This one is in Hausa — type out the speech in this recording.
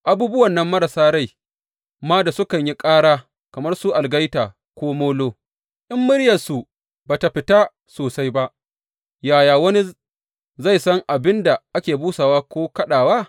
Abubuwan nan marasa rai ma da sukan yi ƙara, kamar su algaita ko molo, in muryarsu ba tă fita sosai ba, yaya wani zai san abin da ake busawa ko kaɗawa?